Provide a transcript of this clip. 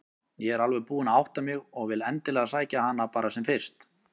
Ég er alveg búin að átta mig og vil endilega sækja hana bara sem fyrst.